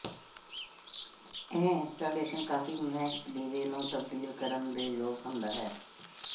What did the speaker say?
ਇਹ ਇੰਸਟਾਲੇਸ਼ਨ ਕਾਫ਼ੀ ਮਹਿਕ ਦੀਵੇ ਨੂੰ ਤਬਦੀਲ ਕਰਨ ਦੇ ਯੋਗ ਹੁੰਦਾ ਹੈ